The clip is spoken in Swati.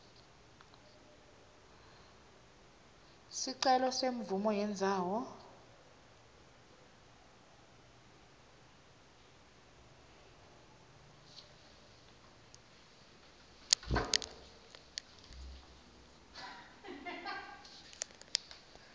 sicelo semvumo yendzawo